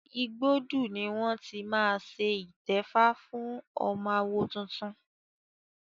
Igbódù ni wọ́n ti máa ṣe ìtẹ́fá fún ọmọ àwo tuntun.